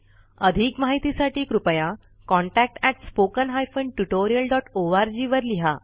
अधिक माहितीसाठी कृपया contactspoken tutorialorg वर लिहा